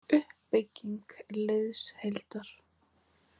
Uppbygging liðsheildar-